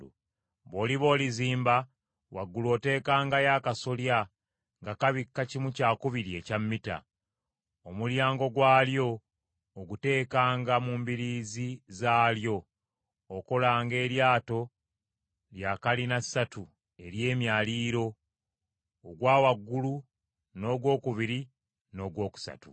Bw’oliba olizimba, waggulu oteekangayo akasolya nga kabika kimu kyakubiri ekya mita. Omulyango gwalyo oguteekanga mu mbiriizi zaalyo. Okolanga eryato lya kalinassatu, ery’emyaliiro: ogwa wansi n’ogwokubiri, n’ogwokusatu.